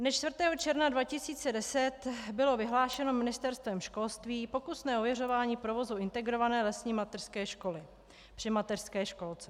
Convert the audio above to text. Dne 4. června 2010 bylo vyhlášeno Ministerstvem školství pokusné ověřování provozu integrované lesní mateřské školy při mateřské školce.